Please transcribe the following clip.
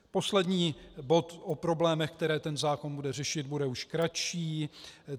Poslední bod o problémech, které ten zákon bude řešit, bude už kratší.